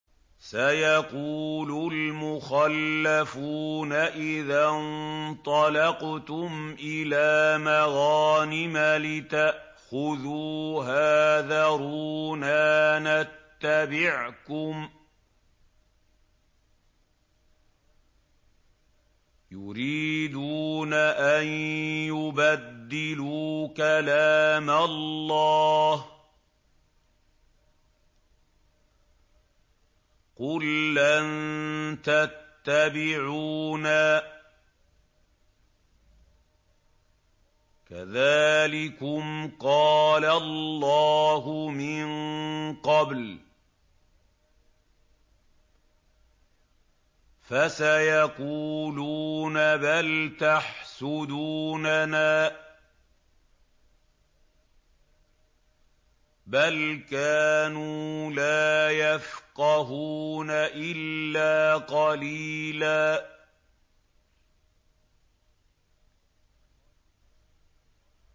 سَيَقُولُ الْمُخَلَّفُونَ إِذَا انطَلَقْتُمْ إِلَىٰ مَغَانِمَ لِتَأْخُذُوهَا ذَرُونَا نَتَّبِعْكُمْ ۖ يُرِيدُونَ أَن يُبَدِّلُوا كَلَامَ اللَّهِ ۚ قُل لَّن تَتَّبِعُونَا كَذَٰلِكُمْ قَالَ اللَّهُ مِن قَبْلُ ۖ فَسَيَقُولُونَ بَلْ تَحْسُدُونَنَا ۚ بَلْ كَانُوا لَا يَفْقَهُونَ إِلَّا قَلِيلًا